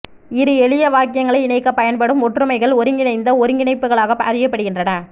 இரு எளிய வாக்கியங்களை இணைக்கப் பயன்படும் ஒற்றுமைகள் ஒருங்கிணைந்த ஒருங்கிணைப்புகளாக அறியப்படுகின்றன